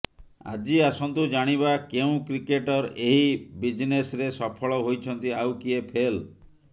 ଆଜି ଆସନ୍ତୁ ଜାଣିବା କେଉଁ କ୍ରିକେଟର ଏହି ବିଜନେସ୍ରେ ସଫଳ ହୋଇଛନ୍ତି ଆଉ କିଏ ଫେଲ